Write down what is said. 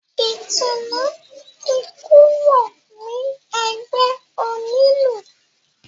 Ìtùnú ti kúrò ní ẹgbẹ́ onílù.